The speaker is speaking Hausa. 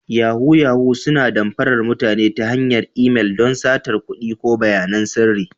Yahoo-yahoo suna damfarar mutane ta hanyar imel don satar kuɗi ko bayanan sirri.